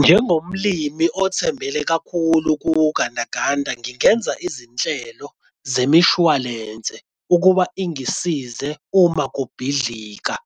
Njengomlimi othembele kakhulu kungandaganga ngingenza izinhlelo zemishwalense ukuba ingisize uma ukubhidliza